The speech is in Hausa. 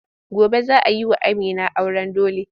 Gobe za a yi wa Amina auren dole.